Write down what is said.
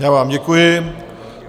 Já vám děkuji.